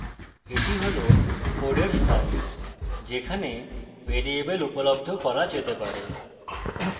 এটি হল code স্থান যেখানে ভ্যারিয়েবল উপলব্ধ করা যেতে পারে